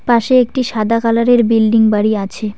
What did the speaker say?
পাশে একটি সাদা কালারের বিল্ডিং বাড়ি আছে।